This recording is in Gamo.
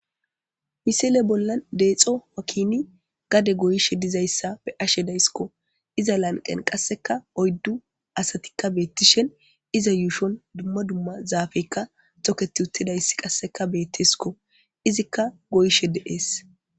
Misile bolla deexo wakini gade goyishe dizayssa be ashe daysikko iza lanqen qasseka oyddu asatikka beettishen iza yuushon dumma dumma zaafekka toketi uttidayss qasseka beettesko izikka goyishe deees.